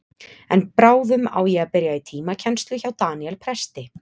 En bráðum á ég að byrja í tímakennslu hjá Daníel presti.